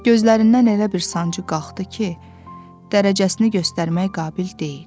Gözlərindən elə bir sancı qalxdı ki, dərəcəsini göstərmək qabil deyil.